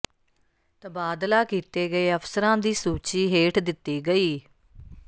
ਤਬਾਦਲਾ ਕੀਤੇ ਗਏ ਅਫ਼ਸਰਾਂ ਦੀ ਸੂਚੀ ਹੇਠ ਦਿੱਤੀ ਗਈ